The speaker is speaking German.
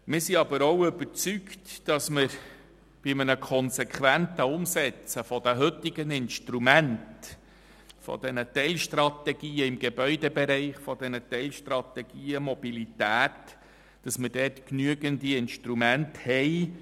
Wir sind aber auch überzeugt, dass bei einer konsequenten Umsetzung der heutigen Teilstrategien im Gebäudebereich und der Teilstrategien bei der Mobilität genügend Instrumente zur Verfügung stehen.